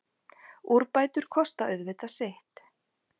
Úrbætur kosta auðvitað sitt.